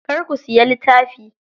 Kar ku siya littafi.